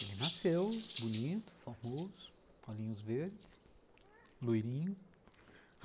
Ele nasceu bonito, famoso, olhinhos verdes, loirinho.